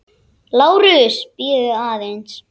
LÁRUS: Bíðið aðeins!